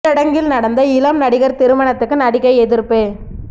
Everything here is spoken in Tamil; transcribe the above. ஊரடங்கில் நடந்த இளம் நடிகர் திருமணத்துக்கு நடிகை எதிர்ப்பு